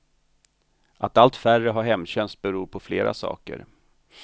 Att allt färre har hemtjänst beror på flera saker.